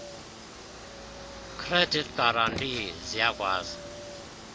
credit guarantee ziyakwazi